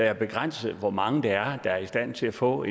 er begrænset hvor mange der er i stand til at få